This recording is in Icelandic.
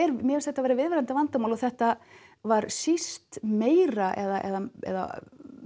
mér finnst þetta vera viðvarandi vandamál og þetta var síst meira eða eða